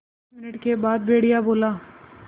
दस मिनट के बाद भेड़िया बोला